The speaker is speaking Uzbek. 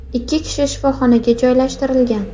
Ikki kishi shifoxonaga joylashtirilgan.